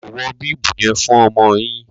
Mi ò wọ bíbù yen fún ọmọ yin